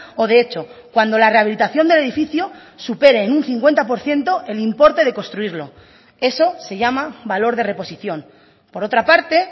o de hecho cuando la rehabilitación del edificio supere en un cincuenta por ciento el importe de construirlo eso se llama valor de reposición por otra parte